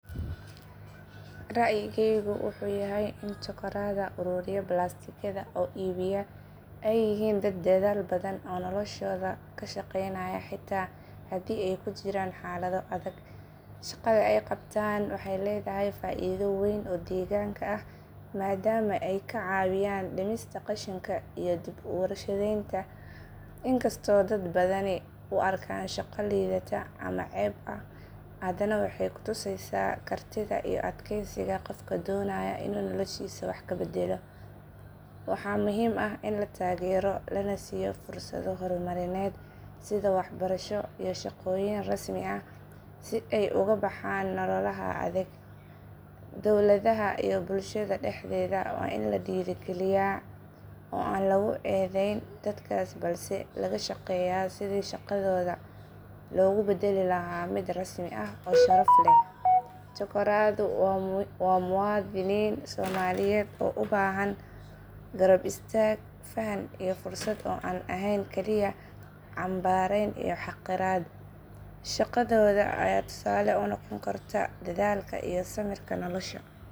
Rayigaygu wuxuu yahay in chokoraada ururiya balaastikada oo iibiya ay yihiin dad dadaal badan oo noloshooda ka shaqaynaya xitaa haddii ay ku jiraan xaalado adag. Shaqada ay qabtaan waxay leedahay faa’iido weyn oo deegaanka ah maadaama ay ka caawiyaan dhimista qashinka iyo dib u warshadaynta. Inkastoo dad badani u arkaan shaqo liidata ama ceeb ah haddana waxay ku tusaysaa kartida iyo adkeysiga qofka doonaya inuu noloshiisa wax ka beddelo. Waxaa muhiim ah in la taageero lana siiyo fursado horumarineed sida waxbarasho iyo shaqooyin rasmi ah si ay uga baxaan nololaha adag. Dowladaha iyo bulshada dhexdeeda waa in la dhiirrigeliyaa oo aan lagu eedeyn dadkaas balse laga shaqeeyaa sidii shaqadooda loogu beddeli lahaa mid rasmi ah oo sharaf leh. Chokoraadu waa muwaadiniin Soomaaliyeed oo u baahan garab istaag, faham iyo fursad aan ahayn kaliya canbaarayn iyo xaqiraad. Shaqadooda ayaa tusaale u noqon karta dadaalka iyo samirka nolosha.